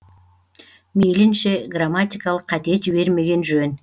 мейлінше грамматикалық қате жібермеген жөн